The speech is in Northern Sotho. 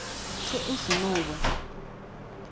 ge go se no ba